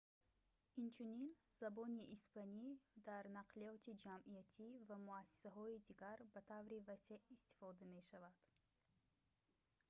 инчунин забони испанӣ дар нақлиёти ҷамъиятӣ ва муассисаҳои дигар ба таври васеъ истифода мешавад